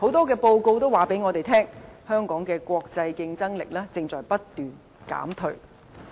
根據多項報告顯示，香港的國際競爭力正不斷減退。